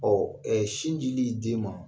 sin dili den ma